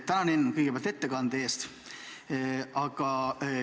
Tänan, Enn, ettekande eest!